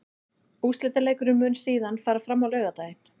Úrslitaleikurinn mun síðan fara fram á laugardaginn.